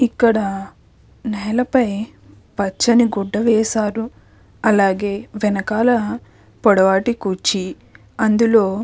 ఇక్కడ నేలపై పచ్చని గుడ్డ వేశారు అలాగే వెనకాల పొడవాటి కుర్చీ అందులో --